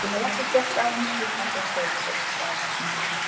Ég hef ekkert gert af mér flýtti hann sér að segja og var glaðvaknaður.